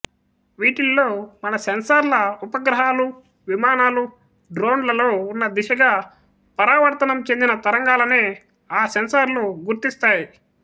వీటిల్లో మన సెన్సర్ల ఉపగ్రహాలు విమానాలు డ్రోన్ లలో ఉన్న దిశగా పరావర్తనం చెందిన తరంగాలనే ఆ సెన్సర్లు గుర్తిస్తాయి